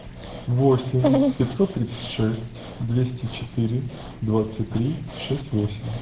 восемь пятьсот тридцать шесть двести четыре двадцать три шесть восемь